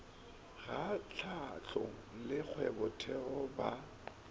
ga hlahlo le kgwebotheo ya